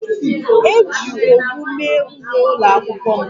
Eji owu mee uwe ụlọakwụkwọ m